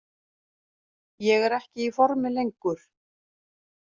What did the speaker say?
Ég er ekki í formi lengur.